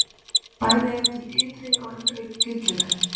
Bæði er til innri og ytri gyllinæð.